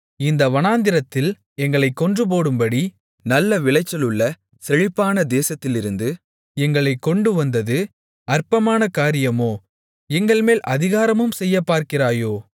இந்த வனாந்திரத்தில் எங்களைக் கொன்றுபோடும்படி நல்ல விளைச்சல் உள்ள செழிப்பான தேசத்திலிருந்து எங்களைக் கொண்டு வந்தது அற்பகாரியமோ எங்கள்மேல் அதிகாரமும் செய்யப்பார்கிறாயோ